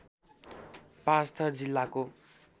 पाँचथर जिल्लाको